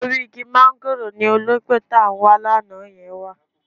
Orí igi máńgòrò ni olóńgbò tá ń wa lánàá yẹn wà